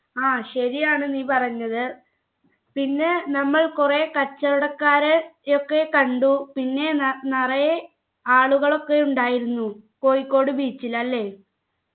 ആ ശരിയാണ് നീ പറഞ്ഞത് പിന്നെ നമ്മൾ കുറെ കച്ചവടക്കാരെ യൊക്കെ കണ്ടു പിന്നെ നെ നിറയെ ആളുകളൊക്കെ ഉണ്ടായിരുന്നു കോഴിക്കോട് beach ൽ അല്ലെ